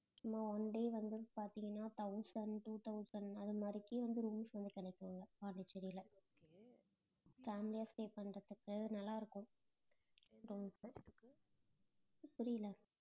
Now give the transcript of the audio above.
சும்மா one day வந்து பாத்தீங்கன்னா thousand two thousand அது மாதிரிக்கே வந்து rooms வந்து கிடைக்கும் பாண்டிச்சேரில family ஆ stay பண்றதுக்கு நல்லா இருக்கும் rooms புரியலை